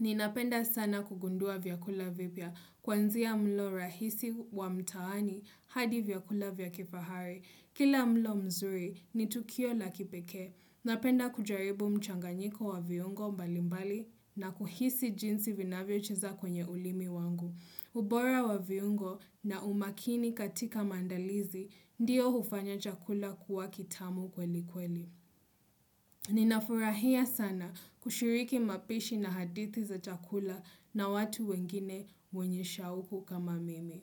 Ninapenda sana kugundua vyakula vipya, kwanzia mlo rahisi wa mtaani, hadi vyakula vya kifahari. Kila mlo mzuri ni tukio la kipekee napenda kujaribu mchanganyiko wa viungo mbalimbali na kuhisi jinsi vinavyocheza kwenye ulimi wangu. Ubora wa viungo na umakini katika maandalizi ndiyo hufanya chakula kuwa kitamu kweli kweli. Ninafurahia sana kushiriki mapishi na hadithi za chakula na watu wengine wenye shauku kama mimi.